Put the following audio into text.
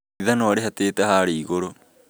Ithanwa rĩhatĩte haria igũrũ